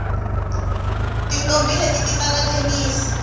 tintombhi leti ti tlanga thenisi